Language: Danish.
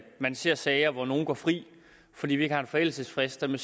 man ser sager hvor nogle går fri fordi vi ikke har forældelsesfristerne